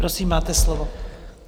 Prosím, máte slovo.